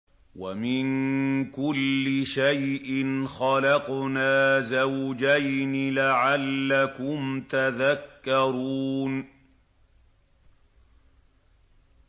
وَمِن كُلِّ شَيْءٍ خَلَقْنَا زَوْجَيْنِ لَعَلَّكُمْ تَذَكَّرُونَ